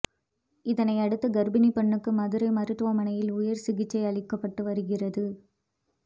இதனையடுத்து கர்ப்பிணி பெண்ணுக்கு மதுரை மருத்துவமனையில் உயர் சிகிச்சை அளிக்கப்பட்டு வருகிறது